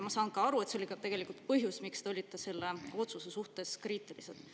Ma saan aru, et see oli tegelikult põhjus, miks te olite selle otsuse suhtes kriitilised.